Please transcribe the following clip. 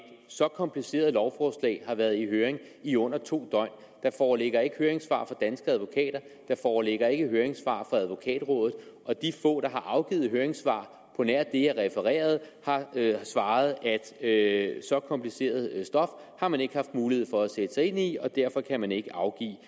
så kompliceret lovforslag har været i høring i under to døgn der foreligger ikke høringssvar fra danske advokater der foreligger ikke høringssvar fra advokatrådet og de få der har afgivet høringssvar på nær det jeg refererede har svaret at så kompliceret stof har man ikke haft mulighed for at sætte sig ind i og derfor kan man ikke afgive